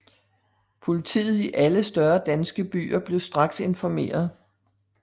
Politiet i alle større danske byer blev straks informeret